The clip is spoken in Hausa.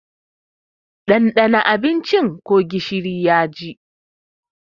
Ɗandana abincin ko gishiri yaji!